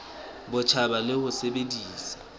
bo botjha le ho sebedisa